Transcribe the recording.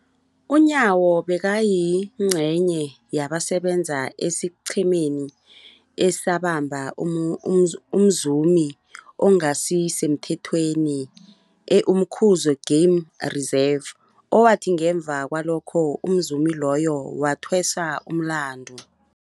UNyawo bekayingcenye yabasebenza esiqhemeni esabamba umzumi ongasisemthethweni e-Umkhuze Game Reserve, owathi ngemva kwalokho umzumi loyo wathweswa umlandu.